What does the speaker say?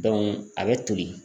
a bɛ toli.